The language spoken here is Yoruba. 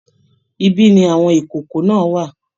Ibi ni àwọn ìkòkò náà wà